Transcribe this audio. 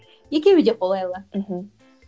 екеуі де қолайлы мхм